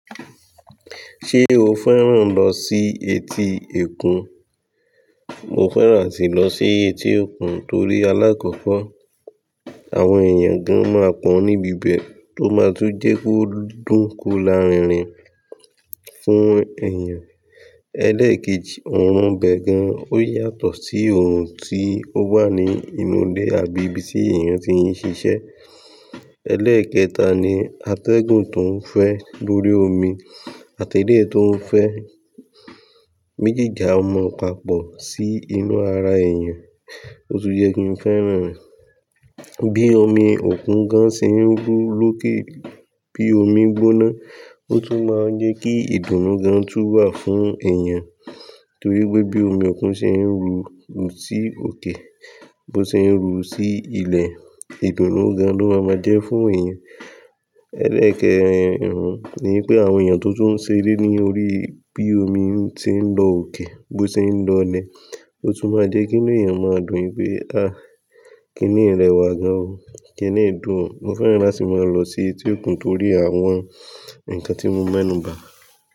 Ṣé o fẹ́ràn lọ sí etí òkun? Mo fẹ́ràn áti lọ sí etí òkun torí alákọ̀kọ̀ àwọn èèyàn gan máa pọ̀ níbi bẹ́ẹ̀ tó máa tún jẹ́ kó dún ko lárinrin fún èèyàn. Ẹlẹ́ẹ̀kejì, òòrùn ibẹ gan. Ó yàtọ̀ sí òòrùn tí ó wà ní inú ilé àbí ibi tí èèyàn tí ń ṣiṣẹ́. Ẹlẹ́ẹ̀kẹta ni atẹ́gùn tó ń fẹ́ lórí omi àti ilẹ̀ tó ń fẹ́. Mejìjà a mu papọ̀ sí inú ara èèyàn, ó tún jẹ́ kí n fẹ́ràn rẹ̀. Bí omi òkun gan ṣe ń ru lókè, bí omi gbóná ó tún máa ń jẹ́ kí ìdùnnú gan tún wà fún èèyàn torí pé bí omi òkun ṣe ń ru sí òkè, bó ṣe ń ru sí ilẹ̀, ìdùnnú gan ló máa ma jẹ́ fún èèyàn. Ẹlẹ́ẹ̀kẹrin ni wipé àwọn èèyàn tó tó ń ṣe eré ní orí, bí omi tí ń lọ òkè, bó ṣe ń lọ ilẹ̀, ó tún máa jẹ́ kí inú èèyàn máa dùn pé, "àáà kini yii ìrẹwà gan o, kíni yii ìdùn o". Mo fẹ́ràn láti máa lọ sí etí òkun torí àwọn nǹkan tí mo m'enu ba.